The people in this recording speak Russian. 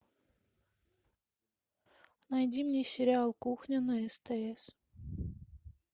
найди мне сериал кухня на стс